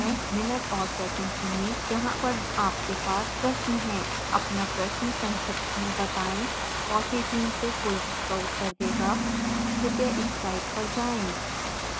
minute और second चुनें जहाँ पर आपके पास प्रश्न है अपना प्रश्न संक्षिप्त में बताएं fossee टीम से कोई उनका उत्तर देगा